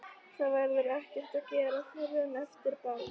Það verður ekkert að gera fyrr en eftir ball.